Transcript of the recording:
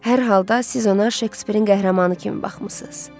Hər halda siz ona Şekspirin qəhrəmanı kimi baxmısınız.